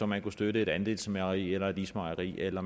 man kunne støtte et andelsmejeri eller et ismejeri eller